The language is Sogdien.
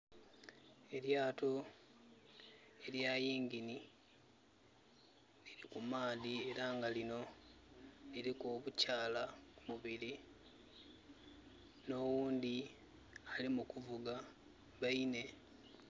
Elyato elya yingini liri ku maadhi ela nga linho liriku obukyaala bubiri, n'oghundhi ali mukuvuga baine.